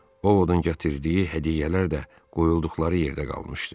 O ovudun gətirdiyi hədiyyələr də qoyulduqları yerdə qalmışdı.